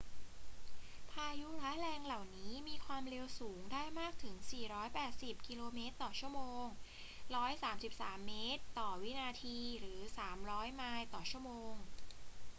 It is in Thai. พายุร้ายแรงเหล่านี้มีความเร็วสูงได้มากถึง 480 กม./ชม. 133 ม /วินาที หรือ 300 ไมล์ต่อชั่วโมง